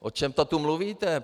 O čem to tu mluvíte?